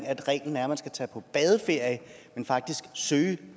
at reglen er at man skal tage på badeferie men faktisk søge